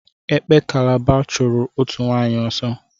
Ekpo Kalaba chụrụ òtù nwaanyị ọsọ.